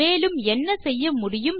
இத்துடன் இந்த டியூட்டோரியல் முடிகிறது